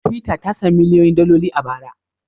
Twitter ta sami miliyoyin daloli a bara.